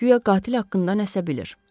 Guya qatil haqqında nəsə bilir.